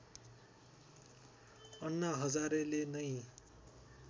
अन्ना हजारेले नै